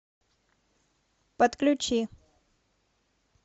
подключи